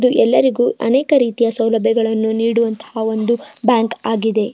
ಇದು ಎಲ್ಲರಿಗೂ ಅನೇಕ ರೀತಿಯ ಸೌಲಭ್ಯಗಳನ್ನು ನೀಡುವಂತಹ ಒಂದು ಬ್ಯಾಂಕ್ ಆಗಿದೆ.